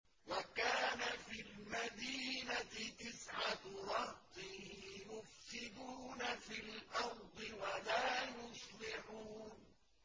وَكَانَ فِي الْمَدِينَةِ تِسْعَةُ رَهْطٍ يُفْسِدُونَ فِي الْأَرْضِ وَلَا يُصْلِحُونَ